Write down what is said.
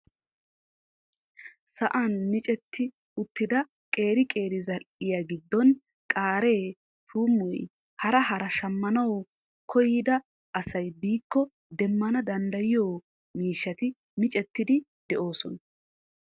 Sa'an micetti uttida qeri qeri zal"iyaa giddon qaaree tuummoy hara hara shaammanwu koyyida asay biiko deemmana danddayiyoo miishshati miccettidi de'oosona.